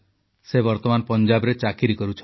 ସେ ବର୍ତ୍ତମାନ ପଞ୍ଜାବରେ ଚାକିରି କରୁଛନ୍ତି